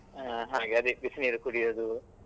ಆಗ ಅದೇ ಬಿಸಿನೀರು ಕುಡಿಯೋದು.